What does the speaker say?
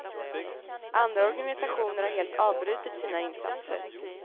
Andra organisationer har helt avbrutit sina insatser.